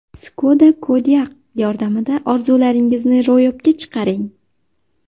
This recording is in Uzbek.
Skoda Kodiaq yordamida orzularingizni ro‘yobga chiqaring!